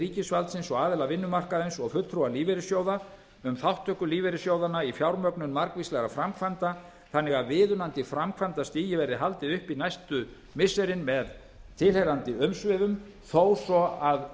ríkisvaldsins aðila vinnumarkaðarins og fulltrúa lífeyrissjóða um þátttöku lífeyrissjóðanna í fjármögnun margvíslegra framkvæmda þannig að viðunandi framkvæmdastigi verði haldið uppi næstu missirin með tilheyrandi umsvifum þó svo að